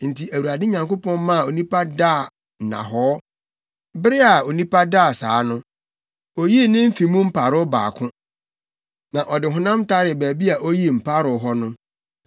Enti Awurade Nyankopɔn maa onipa daa nnahɔɔ. Bere a onipa daa saa no, oyii ne mfe mu mparow baako, na ɔde honam taree baabi a oyii mparow hɔ no.